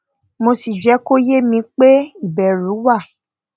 mo sì jẹ kó ye mi pé ìbẹrù wà